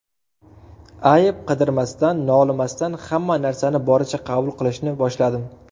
Ayb qidirmasdan, nolimasdan hamma narsani boricha qabul qilishni boshladim.